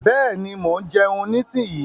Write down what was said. Bẹ́ẹ̀ni, mo ń jeun nísinyí.